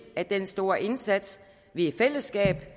at den store indsats vi i fællesskab